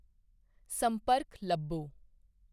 ਸੰਪਰਕ ਲੱਭੋ।